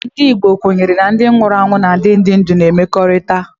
Ndị Igbo kwenyere na ndị nwụrụ anwụ na ndị dị ndụ na-emekọrìta